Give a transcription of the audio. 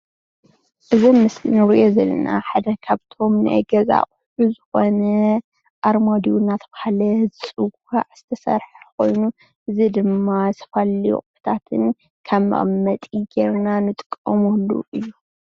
እዚ ኣብ ምስሊ እንሪኦ ዘለና ሓደ ካብቶም ናይ ገዛ ኣቁሑት ዝኮነ ኣርማድዮ እንዳተባሃለ ዝፅዋዕ ዝተሰርሐ ኮይኑ እዚ ድማ ዝተፈላለዩ ኣቁሕታትን ከም መቀመጢ ገይርና እንጥቀመሉ እዩ፡፡